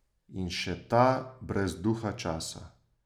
In še ta brez duha časa.